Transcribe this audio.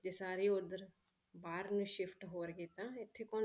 ਜੇ ਸਾਰੇ ਹੀ ਉੱਧਰ ਬਾਹਰ ਨੂੰ shift ਹੋਣਗੇ ਤਾਂ ਇੱਥੇ ਕੌਣ,